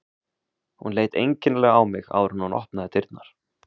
Hún leit einkennilega á mig áður en hún opnaði dyrnar.